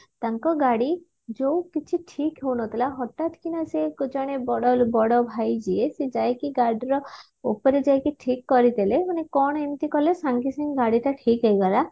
ତାଙ୍କ ଗାଡି ଯଉକିଛି ଠିକହଉନଥିଲା ହଠାତକିନା ସେ ଜଣେ ବଡ ବଡ ଭାଇ ଯିଏ ସେ ଯାଇକି ଗାଡିର ଉପରେ ଯାଇକି ଠିକ କରିଦେଲେ ମାନେ କଣ ଏମିତି କଲେ ସାଙ୍ଗେ ସାଙ୍ଗେ ଗାଡି ଟା ଠିକ ହେଇଗଲା